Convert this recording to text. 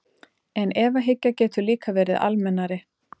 En efahyggja getur líka verið almennari.